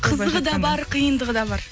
қызығы да бар қиындығы да бар